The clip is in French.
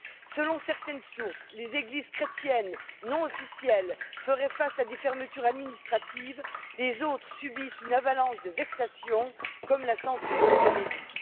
Selon certaines sources, les églises chrétiennes non officielles seraient confrontées à des fermetures administratives, tandis que les autres subissent une avalanche de vexations, comme la censure des homélies.